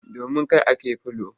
Domin kai ake fula.